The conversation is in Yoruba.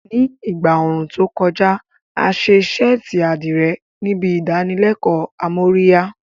Ní ìgbà ooru tó kọjá, a ṣe ṣẹ́ẹ̀tì àdìrẹ níbi ìdánilẹ́kọ̀ọ́ amóríyá